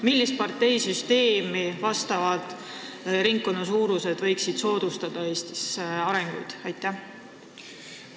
Millisele parteide süsteemile vastavad ringkonnasuurused võiksid soodustada Eestis arenguid?